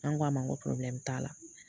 An ko a ma n ko t'a la